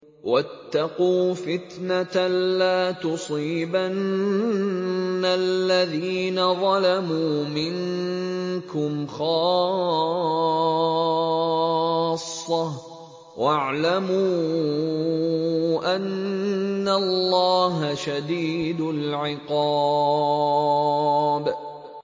وَاتَّقُوا فِتْنَةً لَّا تُصِيبَنَّ الَّذِينَ ظَلَمُوا مِنكُمْ خَاصَّةً ۖ وَاعْلَمُوا أَنَّ اللَّهَ شَدِيدُ الْعِقَابِ